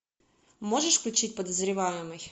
можешь включить подозреваемый